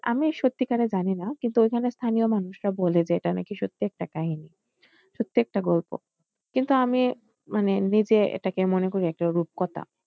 আমি সত্যিকারে জানিনা কিন্তু ওইখানে স্থানীয় মানুষরা বলে যে এটা নাকি সত্যি একটা কাহিনী, সত্যিই একটা গল্প কিন্তু আমি মানে নিজে এটা মনে করি একটা রূপকথা।